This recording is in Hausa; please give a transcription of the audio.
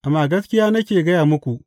Amma gaskiya nake gaya muku.